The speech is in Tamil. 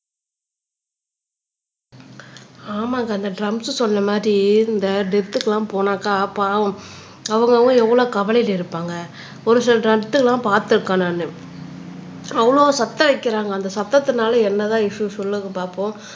ஆமாக்கா அந்த டிரம்ஸ் சொன்ன மாதிரி இந்த டெத்க்கெல்லாம் போனாக்கா பாவம் அவங்கவங்க எவ்வளவு கவலையில இருப்பாங்க ஒரு சில எல்லாம் பார்த்திருக்கேன் நானு அவ்வளவு சத்தம் வைக்கிறாங்க அந்த சத்தத்துனால என்னதான் இஸ்யூ சொல்லுங்க பார்ப்போம்